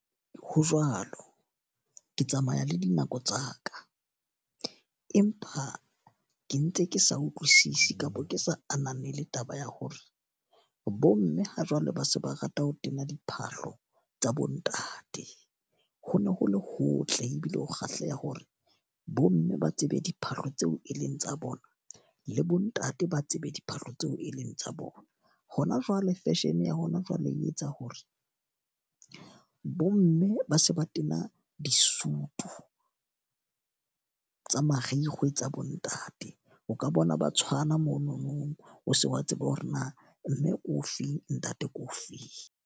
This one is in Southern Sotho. Ho jwalo, ke tsamaya le dinako tsa ka. Empa ke ntse ke sa utlwisisi kapa ke sa ananele taba ya hore bo mme ha jwale ba se ba rata ho tena diphahlo tsa bo ntate. Ho ne ho le hotle ebile ho kgahleha hore bo mme ba tsebe diphahlo tseo e leng tsa bona, le bo ntate ba tsebe diphahlo tseo e leng tsa bona. Hona jwale fashion ya hona jwale e etsa hore bo mme ba se ba tena disutu tsa marikgwe tsa bo ntate. O ka bona ba tshwana monono, o se wa tseba hore na mme o feng, ntate ke o feng.